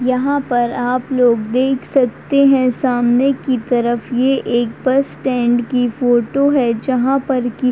यहाँ पर आप लोग देख सकते हैं। सामने की तरफ ये एक बस स्टैंड की फोटो है। जहां पर कि--